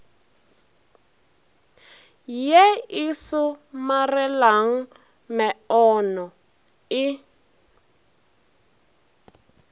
ye e somarelang meono e